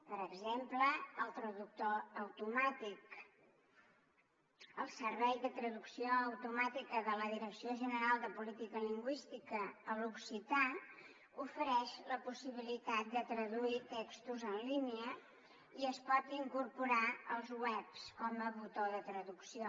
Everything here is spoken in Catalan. per exemple el traductor automàtic el servei de traducció automàtica de la direcció general de política lingüística a l’occità ofereix la possibilitat de traduir textos en línia i es pot incorporar als webs com a botó de traducció